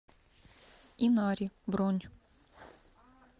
инари бронь